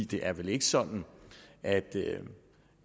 det er vel ikke sådan at